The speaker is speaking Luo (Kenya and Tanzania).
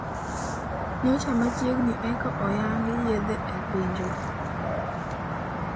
Nyocha machiegni ekaoyangi yathe e pinywa.